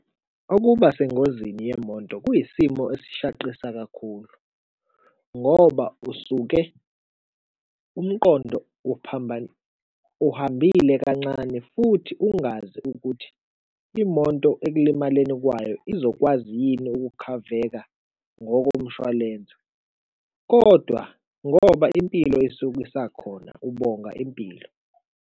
Ukuba sengozini yemoto kuyisimo esishaqisa kakhulu ngoba usuke umqondo uhambile kancane futhi ungazi ukuthi imoto ekulimaleni kwayo izokwazi yini ukukhaveka ngokomshwalense kodwa ngoba impilo isuke isakhona, ubonga impilo.